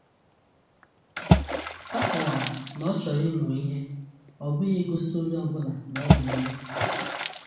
O kọwara na ọ chọrọ ịmụ ihe, ọ bụghị igosi onye ọ bụla na ọ dị njọ.